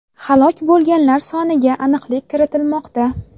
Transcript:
Halok bo‘lganlar soniga aniqlik kiritilmoqda.